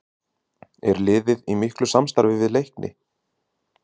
Er liðið í miklu samstarfi við Leikni?